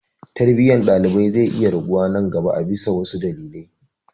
Tarbiyyar ɗalibai zai iya raguwa nan gaba a bisa wasu dalilai.